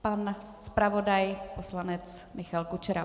Pan zpravodaj poslanec Michal Kučera.